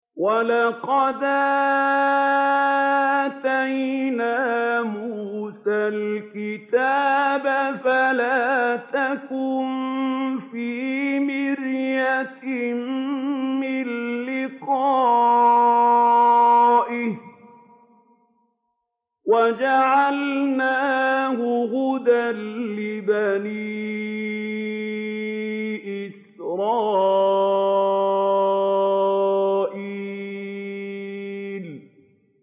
وَلَقَدْ آتَيْنَا مُوسَى الْكِتَابَ فَلَا تَكُن فِي مِرْيَةٍ مِّن لِّقَائِهِ ۖ وَجَعَلْنَاهُ هُدًى لِّبَنِي إِسْرَائِيلَ